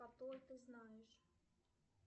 ты знаешь